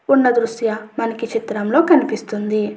ఉన్న దుర్శ్య మనకు ఈ చిత్రంలో కనిపిస్తుంది.